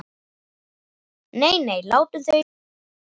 Nei, nei, látum þau í friði.